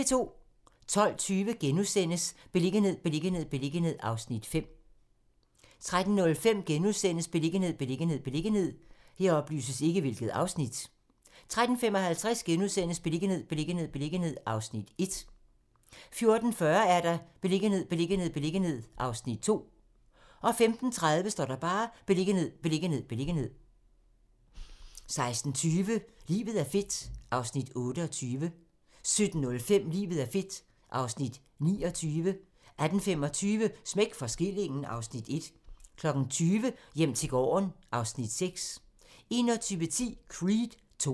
12:20: Beliggenhed, beliggenhed, beliggenhed (Afs. 5)* 13:05: Beliggenhed, beliggenhed, beliggenhed * 13:55: Beliggenhed, beliggenhed, beliggenhed (Afs. 1)* 14:40: Beliggenhed, beliggenhed, beliggenhed (Afs. 2) 15:30: Beliggenhed, beliggenhed, beliggenhed 16:20: Livet er fedt (Afs. 28) 17:05: Livet er fedt (Afs. 29) 18:25: Smæk for skillingen (Afs. 1) 20:00: Hjem til gården (Afs. 6) 21:10: Creed II